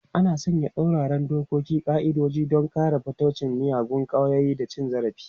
An sanya tsauraran dokoki da ƙa'idodi don yaƙar fataucin miyagun ƙwayoyi da cin zarafi.